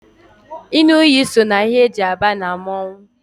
ịṅụ iyi so na ihe e ji aba na mmọnwụ